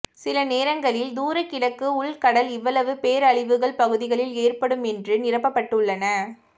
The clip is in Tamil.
சில நேரங்களில் தூரக் கிழக்கு உள் கடல் இவ்வளவு பேரழிவுகள் பகுதிகளில் ஏற்படும் என்று நிரப்பப்பட்டுள்ளன